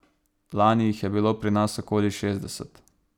Lani jih je bilo pri nas okoli šestdeset.